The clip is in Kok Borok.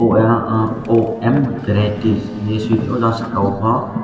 oyang o om vareities hinui suitongo jang saka o pho.